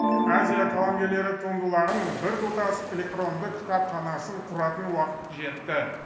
азия қаламгерлері туындыларының біртұтас электронды кітапханасын құратын уақыт жетті